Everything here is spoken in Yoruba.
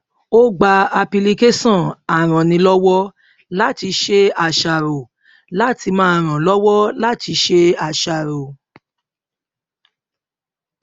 ó gba apilicáṣọn arannílọwọlátiṣeàṣàrò láti máa ràn án lọwọ láti ṣe àṣàrò